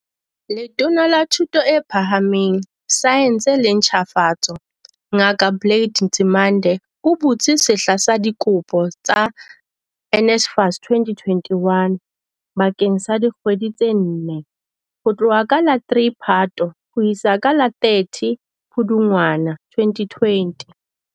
Letona la Thuto e Phahameng, Saense le Ntjhafatso, Ngaka Blade Nzimande, o butse sehla sa dikopo sa NSFAS 2021 bakeng sa dikgwedi tse nne, ho tloha ka la 3 Phato ho isa ka la 30 Pudungwana 2020.